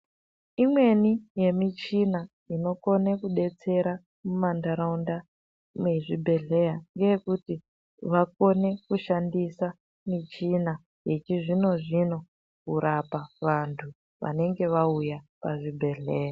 Imweni yemichina inokone kudetsera mumantaraunda mwezvibhedhleya, ngeyekuti vakone kushandisa michina yechizvino-zvino kurapa vantu vanenge vauya pazvibhedhleya.